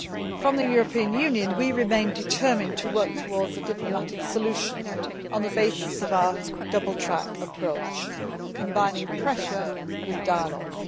For the European Union, we remain determined to work towards a diplomatic solution on the basis of our double track approach, combining pressure with dialogue.